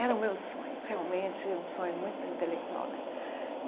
Era o meu sonho, realmente, um sonho muito intelectual né.